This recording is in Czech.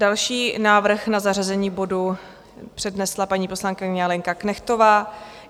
Další návrh na zařazení bodu přednesla paní poslankyně Lenka Knechtová.